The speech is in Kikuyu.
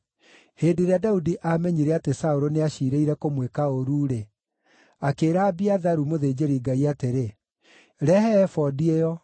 Hĩndĩ ĩrĩa Daudi aamenyire atĩ Saũlũ nĩaciirĩire kũmwĩka ũũru-rĩ, akĩĩra Abiatharu mũthĩnjĩri-Ngai atĩrĩ, “Rehe ebodi ĩyo.”